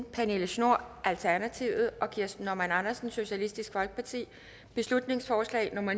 pernille schnoor og kirsten normann andersen beslutningsforslag nummer